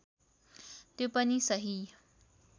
त्यो पनि सही